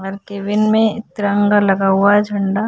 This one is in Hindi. हन् केबिन में तिरंगा लगा हुआ है झंडा।